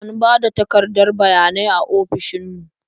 An ba da takardar bayanai a ofishin mu.